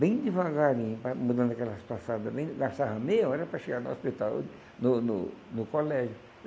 Bem devagarinho, vai mudando aquelas passadas, bem gastava meia hora para chegar no hospital, no no no colégio.